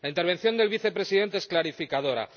La intervención del Vicepresidente es clarificadora.